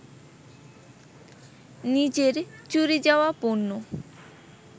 নিজের চুরি যাওয়া পণ্য